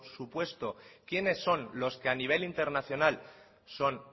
supuesto quiénes son los que a nivel internacional son